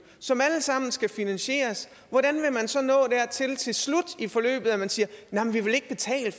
som alle sammen skal finansieres hvordan vil man så nå dertil til slut i forløbet at man siger